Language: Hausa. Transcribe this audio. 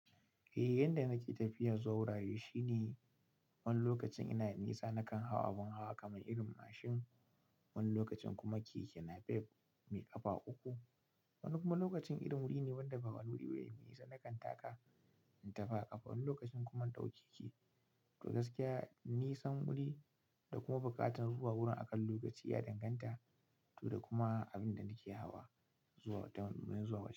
Eh, yanda nake tafiyar zuwa wurare shine wani lokacin ina da nisa na kan hau abin hawa kamar irin mashin, wani lokacin kuma keke napef mai ƙafa uku. Wani kuma lokacin irin wuri ne wanda babu wani wuri wanda me nisa na kan taka in tafi ƙafa. Wani lokacin kuma ɗauke keke. To gaskiya nisan wuri da kuma buƙatar zuwa wurin akan lokaci ya danganta to da kuma abinda nake hawa zuwa da zuwa wurin.